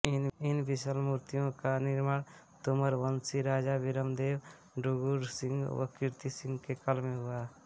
इन विशाल मूर्तियों का निर्माण तोमरवंशी राजा वीरमदेव डूँगरसिंह व कीर्तिसिंह के काल में हुआ